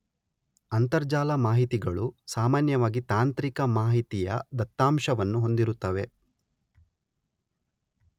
ಅಂತರಜಾಲ ಮಾಹಿತಿಗಳು ಸಾಮಾನ್ಯವಾಗಿ ತಾಂತ್ರಿಕ ಮಾಹಿತಿಯ ದತ್ತಾಂಶವನ್ನು ಹೊಂದಿರುತ್ತವೆ.